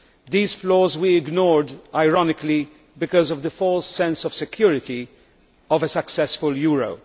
These flaws we ignored, ironically, because of the false sense of security created by a successful euro.